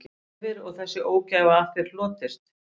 Hefir og þessi ógæfa af þér hlotist